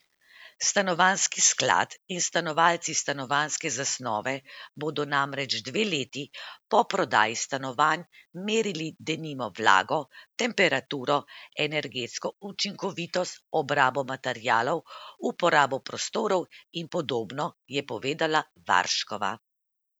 Stanovanjski sklad in snovalci stanovanjske zasnove bodo namreč dve leti po prodaji stanovanj merili denimo vlago, temperaturo, energetsko učinkovitost, obrabo materialov, uporabo prostorov in podobno, je povedala Varškova.